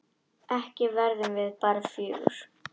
Ekki verðum við bara fjögur?